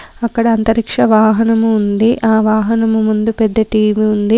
అక్కడ అంతరిక్ష వాహనము ఉంది ఆ వాహనము ముందు పెద్ద టీవీ ఉంది.